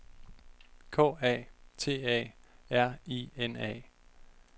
K A T A R I N A